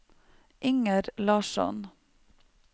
Inger Larsson